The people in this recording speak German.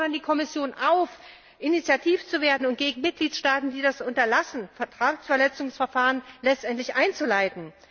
Wir fordern die Kommission auf, initiativ zu werden und gegen Mitgliedstaaten, die das unterlassen, Vertragsverletzungsverfahren einzuleiten.